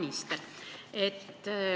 Hea minister!